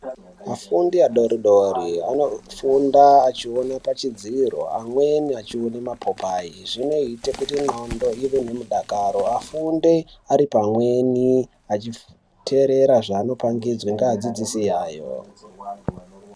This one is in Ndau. Afundi adodori anofunda achionekwa pachidziro amweni achiona mapopai izvi zvinoita kuti ngonxo ive nemudakaro afunde Ari pamweni achiterera zvabopangudzwa ngevadzidzisi ivavo.